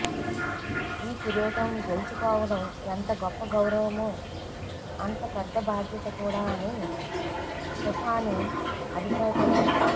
ఈ కిరీటం గెల్చుకోవడం ఎంత గొప్ప గౌరవమో అంత పెద్ద బాధ్యత కూడా అని స్టెఫానీ అభిప్రాయపడింది